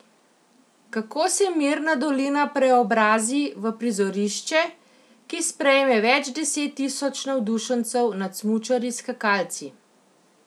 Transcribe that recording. Kako se mirna dolina preobrazi v prizorišče, ki sprejme več deset tisoč navdušencev nad smučarji skakalci?